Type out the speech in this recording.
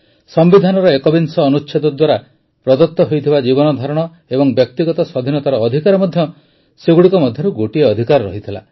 ସମ୍ବିଧାନର ଏକବିଂଶ ଅନୁଚ୍ଛେଦ ଦ୍ୱାରା ପ୍ରଦତ୍ତ ଜୀବନ ଧାରଣ ଏବଂ ବ୍ୟକ୍ତିଗତ ସ୍ୱାଧୀନତାର ଅଧିକାର ମଧ୍ୟ ସେଗୁଡ଼ିକ ମଧ୍ୟରୁ ଗୋଟିଏ ଅଧିକାର ଥିଲା